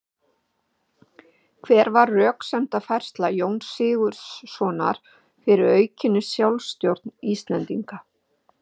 Hver var röksemdafærsla Jóns Sigurðssonar fyrir aukinni sjálfstjórn Íslendinga?